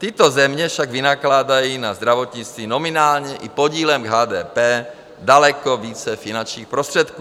Tyto země však vynakládají na zdravotnictví nominálně i podílem k HDP daleko více finančních prostředků.